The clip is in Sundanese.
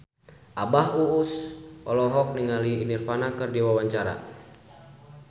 Abah Us Us olohok ningali Nirvana keur diwawancara